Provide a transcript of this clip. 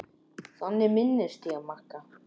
Þannig minnist ég Magga.